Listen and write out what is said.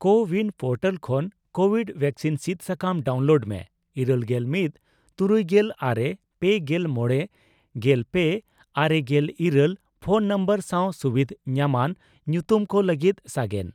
CoWIN portal ᱠᱷᱚᱱ Covid vaccine ᱥᱤᱫ ᱥᱟᱠᱟᱢ ᱰᱟᱣᱩᱱᱞᱳᱰ ᱢᱮ ᱤᱨᱟᱹᱞ ᱜᱮᱞ ᱢᱤᱛ ,ᱛᱩᱨᱩᱭᱜᱮᱞ ᱟᱨᱮ ,ᱯᱮᱜᱮᱞ ᱢᱚᱲᱮ ,ᱜᱮᱞ ᱯᱮ ,ᱟᱨᱮᱜᱮᱞ ᱤᱨᱟᱹᱞ ᱯᱷᱚᱱ ᱱᱚᱢᱵᱚᱨ ᱥᱟᱣ ᱥᱩᱵᱤᱫᱷ ᱧᱟᱢᱟᱱ ᱧᱩᱛᱩᱢ ᱠᱚ ᱞᱟᱹᱜᱤᱫ ᱥᱟᱜᱮᱱ ᱾